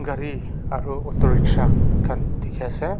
gari aru autorickshaw khan dikhi ase.